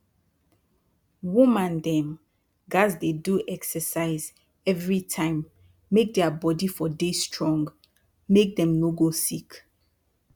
woman dem gats dey do exercise everi time make dia bodi for dey strong make dem no go sick